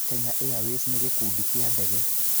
Kenya Airways nĩ gĩkundi kĩa ndege.